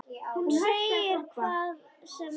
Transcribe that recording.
Hún segir hvað sem er.